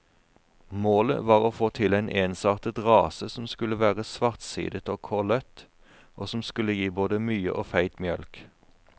Målet var å få til en ensartet rase som skulle være svartsidet og kollet, og som skulle gi både mye og feit mjølk.